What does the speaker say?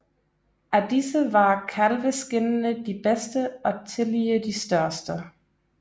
Af disse var kalveskindene de bedste og tillige de største